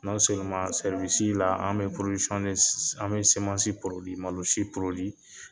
an bi an bi malosi